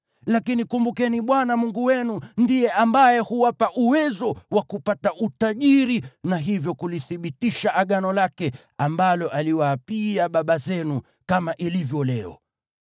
Lakini kumbukeni Bwana Mungu wenu, ndiye ambaye huwapa uwezo wa kupata utajiri, na hivyo kulithibitisha Agano lake, ambalo aliwaapia baba zenu, kama ilivyo leo.